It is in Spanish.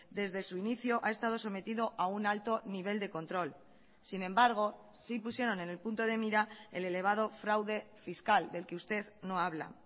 desde su inicio ha estado sometido a un alto nivel de control sin embargo sí pusieron en el punto de mira el elevado fraude fiscal del que usted no habla